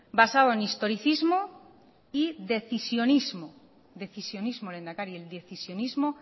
basado en historicismo y decisionismo decisionismo lehendakari el decisionismo